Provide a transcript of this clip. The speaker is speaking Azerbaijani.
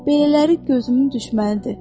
Belələri gözümün düşmənidir.